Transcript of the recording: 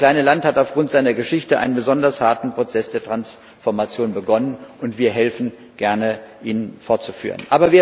Das kleine Land hat aufgrund seiner Geschichte einen besonders harten Prozess der Transformation begonnen, und wir helfen gerne, ihn fortzuführen.